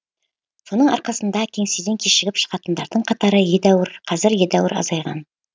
соның арқасында кеңседен кешігіп шығатындардың қатары қазір едәуір азайған